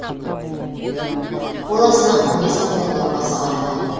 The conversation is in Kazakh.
қол астына он бес мыңдай отбасы қарады